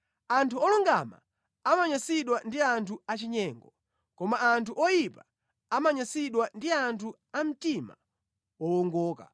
Anthu olungama amanyansidwa ndi anthu achinyengo; koma anthu oyipa amanyansidwa ndi anthu a mtima wowongoka.